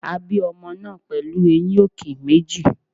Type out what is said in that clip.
A bí ọmọ náà pẹ̀lú eyín òkè méjì.